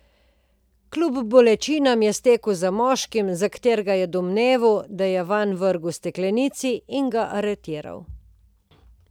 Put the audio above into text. Kljub bolečinam je stekel za moškim, za katerega je domneval, da je vanj vrgel steklenici, in ga aretiral.